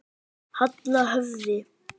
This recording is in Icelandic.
Halla höfði.